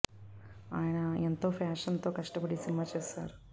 ఆయన ఎంతో ఫ్యాషన్ తో కష్టపడి ఈ సినిమా చేశారు